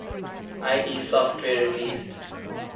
id software released